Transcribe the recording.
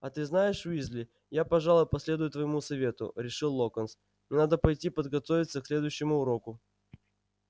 а ты знаешь уизли я пожалуй последую твоему совету решил локонс мне надо пойти подготовиться к следующему уроку